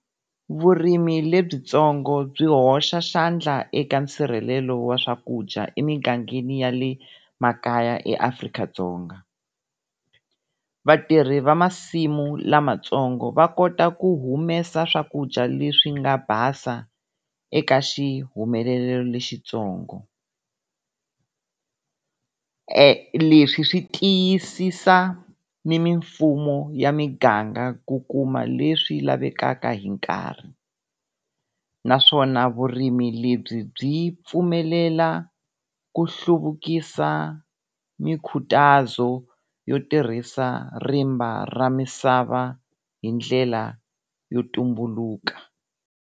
Vurimi lebyitsongo byi hoxa xandla eka nsirhelelo wa swakudya emingangeni ya le makaya eAfrika-Dzonga. Vatirhi va masimu lamatsongo va kota ku humesa swakudya leswi nga basa eka xihumelelo lexitsongo. Leswi swi tiyisisa ni mimfumo ya miganga ku kuma leswi lavekaka hi nkarhi. Naswona vurimi lebyi byi pfumelela ku hluvukisa mi khutazo yo tirhisa rimba ra misava hindlela yo tumbuluka.